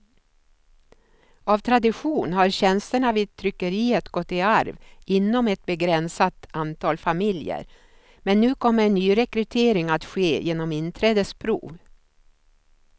Av tradition har tjänsterna vid tryckeriet gått i arv inom ett begränsat antal familjer, men nu kommer nyrekrytering att ske genom inträdesprov.